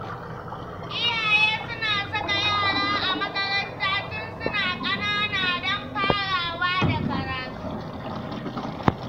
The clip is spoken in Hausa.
Iyaye suna saka yara a makaranta tun suna ƙanana don farawa da karatu.